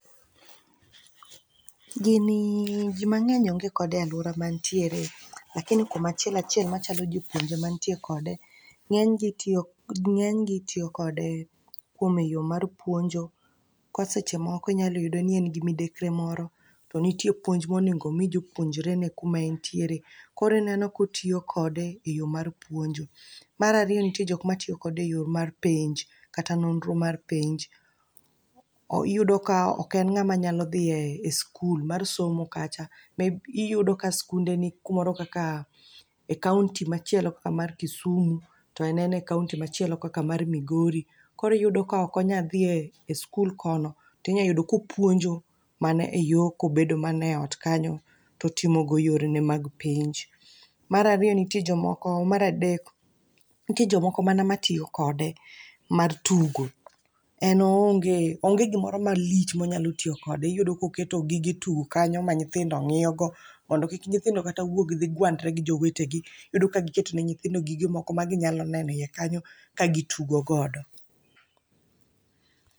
Gini ji mang'eny onge kode e alwora ma antiere, lakini kuom achiel achiel machalo jopuonje mantie kode ng'enygi tiyo kode kuom eyo mar puonjo. Ko seche moko inyalo yudo ni en gi midekre moro, to nitie puonj monego omi jopuonjrene kuma entiere. Korineno kotiyo kode e yo mar puonjo. Marariyo nitie jok matiyo kode e yo mar penj, kata nonro mar penj. Iyudo ka ok en ng'ama nyalo dhi e skul mar somo kacha, ma iyudo ka skunde ni kumoro kaka e kaonti machielo kaka mar Kisumu. To en en e kaonti machielo kaka mar Migori. Koriyudo ka okonya dhi e skul kono, tinya yudo kopuonjo mana e yo kobedo mana e ot kanyo totimogo yorene mag penj. Marariyo nitie jomoko, maradek, nitie jomoko mana matiyo kode mar tugo. En oonge, onge gimoro malich monyalo tiyo kode. Iyudo koketo gige tugo kanyo ma nyithindo ng'iyo go, mondo kik nyithindo kata wuog dhi gwandre gi jowetegi. Iyudo ka giketo ne nyithindo gige moko ma ginyalo neno e iye kanyo ka gitugo godo.